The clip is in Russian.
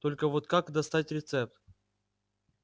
только вот как достать рецепт